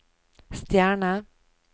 stjerne